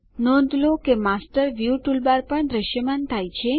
નોંધ લો કે માસ્ટર વ્યૂ ટૂલબાર પણ દ્રશ્યમાન છે